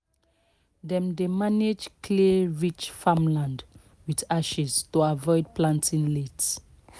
dem dey manage clay-rich farmland with ashes to avoid planting late.